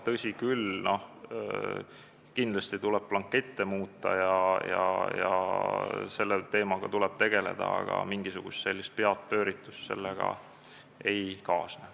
Tõsi küll, kindlasti tuleb muuta blankette ja selle teemaga tuleb tegeleda, aga mingisugust peapööritust sellega ei kaasne.